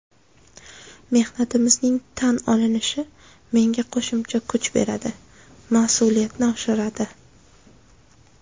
Mehnatimning tan olinishi menga qo‘shimcha kuch beradi, mas’uliyatni oshiradi.